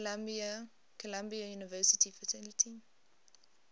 columbia university faculty